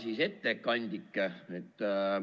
Hea ettekandja!